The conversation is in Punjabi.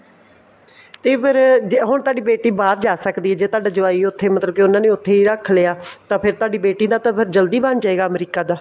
ਤੇ ਫੇਰ ਜੇ ਹੁਣ ਤੁਹਾਡੀ ਬੇਟੀ ਬਾਹਰ ਜਾ ਸਕਦੀ ਹੈ ਜ਼ੇ ਤੁਹਾਡਾ ਜਵਾਈ ਉੱਥੇ ਮਤਲਬ ਕੀ ਉਹਨਾ ਨੇ ਉੱਥੇ ਹੀ ਰੱਖ ਲਿਆ ਤਾਂ ਫ਼ੇਰ ਤੁਹਾਡੀ ਬੇਟੀ ਦਾ ਫ਼ੇਰ ਜਲਦੀ ਬਣ ਜਏਗਾ ਅਮਰੀਕਾ ਦਾ